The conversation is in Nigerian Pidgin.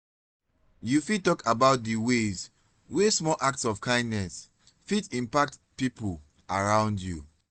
you fit talk about di ways wey small acts of kindness fit impact people around you.